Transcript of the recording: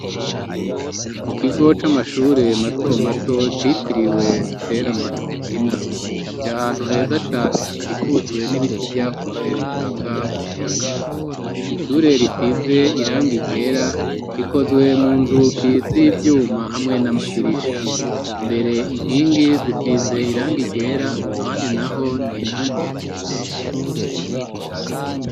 Mu kigo c'amashure mato mato citiriwe Stella Matutina, iri ahantu heza cane hakikujwe n'ibiti vyakuze bitanga umuyaga; ishure risize irangi ryera rikozwe mu nzugi z'ivyuma hamwe n'amadirisha. Imbere inkingi zisize irangi ryera ahandi naho ni irangi ry'umuhondo.